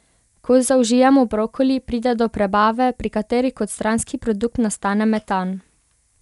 Ko zaužijemo brokoli, pride do prebave, pri kateri kot stranski produkt nastane metan.